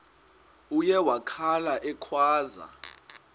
uye wakhala ekhwaza